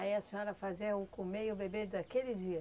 Aí a senhora fazia o comer e o beber daquele dia?